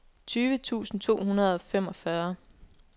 tyve tusind to hundrede og femogfyrre